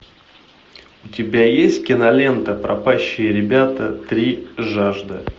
у тебя есть кинолента пропащие ребята три жажда